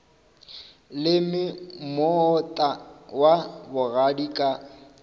leme moota wa bogadi ka